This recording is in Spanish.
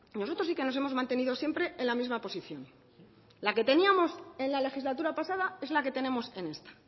nosotros sí que nos hemos mantenido siempre en la misma posición la que teníamos en la legislatura pasada es la que tenemos en esta